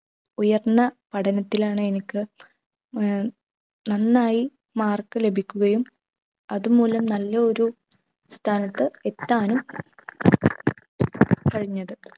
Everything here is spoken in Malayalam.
ഉയർന്ന പഠനത്തിലാണ് എനിക്ക് ഏർ നന്നായി mark ലഭിക്കുകയും അതുമൂലം നല്ല ഒരു സ്ഥാനത്ത് എത്താനും കഴിഞ്ഞത്